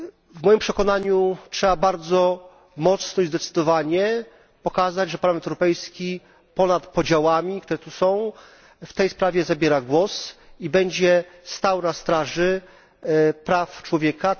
W moim przekonaniu trzeba bardzo mocno i zdecydowanie pokazać, że Parlament Europejski ponad podziałami, które tu są, w tej sprawie zabiera głos i będzie stał na straży praw człowieka.